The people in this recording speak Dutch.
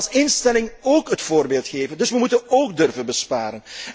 We moeten als instelling het voorbeeld geven, dus we moeten ook durven besparen.